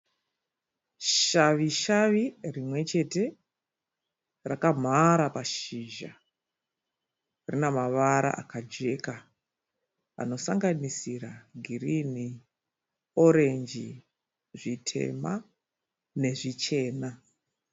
Shavi shavi rimwe chete rakamhara pashizha. Rina mavara akajeka anosanganisira girinhi, orenji, zvitema nezvichena.